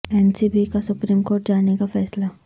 N C B کا supreme court جانے کا فیصلہ